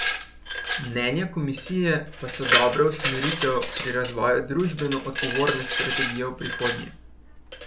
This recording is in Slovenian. Mnenja komisije pa so dobra usmeritev pri razvoju družbeno odgovorne strategije v prihodnje.